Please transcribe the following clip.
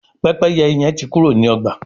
Pẹ́pẹ́yẹ hẹn tí Kúrò ní ọgba